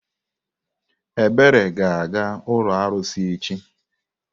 Ebere ga-aga ụlọ arụsị echi.